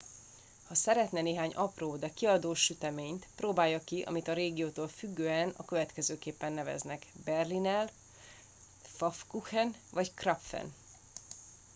ha szeretne néhány apró de kiadós süteményt próbálja ki amit a régiótól függően a következőképpen neveznek berliner pfannkuchen vagy krapfen